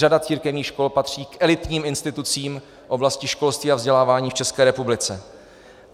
Řada církevních škol patří k elitním institucím v oblasti školství a vzdělávání v České republice.